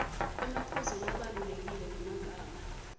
emaphuzu labalulekile ngemagama